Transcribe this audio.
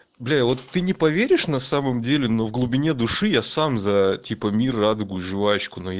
блин вот ты не поверишь на самом деле но в глубине души я сам за типа за мир радугу жвачку но я